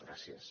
gràcies